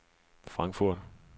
Frankfurt